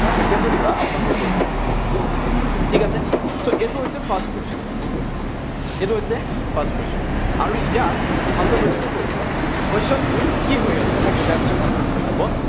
আৰু second টোৰ পৰা আপোনালোকে কৰিব লাগিব। ঠিক আছে so এইটো হৈছে first question এইটো হৈছে first question আৰু ইয়াত ভালদৰে লক্ষ্য কৰিব question টোত কি হৈ আছে, মই বুজাই দিছো ভালদৰে শুনি লব